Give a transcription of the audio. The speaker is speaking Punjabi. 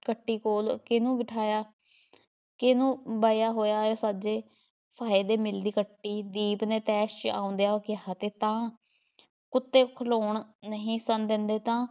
ਕੱਟੀ ਕੋਲ਼ ਕਿਹਨੂੰ ਬਿਠਾਇਆ ਕਿਹਨੂੰ ਬਹਾਇਆ ਹੋਇਆ ਹੈ ਸਾਜੇ? ਫਾਹੇ ਦੇ ਮਿਲ਼ਦੀ ਕੱਟੀ ਦੀਪ ਨੇ ਤੈਸ਼ ‘ਚ ਆਉਂਦਿਆਂ ਕਹਿ ਦਿੱਤਾ ਕੁੱਤੇ ਖ਼ਲੋਣ ਨਹੀਂ ਸਨ ਦੇਂਦੇ ਤਾਂ